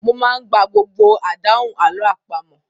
Bẹ́ẹ̀ni, mo máa ń gba gbogbo àdáhùn àlọ́ àpamọ̀.